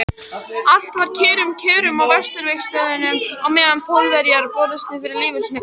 Allt var með kyrrum kjörum á Vesturvígstöðvunum á meðan Pólverjar börðust fyrir lífi sínu.